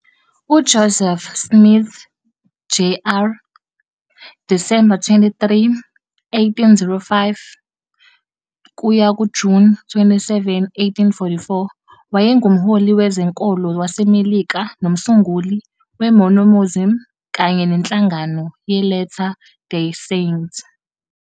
UJoseph Smith Jr., Disemba 23, 1805 kuya kuJuni 27, 1844, wayengumholi wezenkolo waseMelika nomsunguli weMormonism kanye nenhlangano yeLatter Day Saint.